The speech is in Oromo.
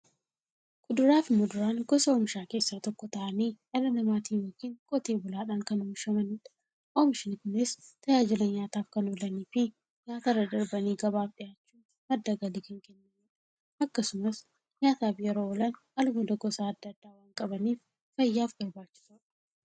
Kuduraafi muduraan gosa oomishaa keessaa tokko ta'anii, dhala namaatin yookiin Qotee bulaadhan kan oomishamaniidha. Oomishni Kunis, tajaajila nyaataf kan oolaniifi nyaatarra darbanii gabaaf dhiyaachuun madda galii kan kennaniidha. Akkasumas nyaataf yeroo oolan, albuuda gosa adda addaa waan qabaniif, fayyaaf barbaachisoodha.